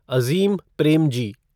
Azeem Premji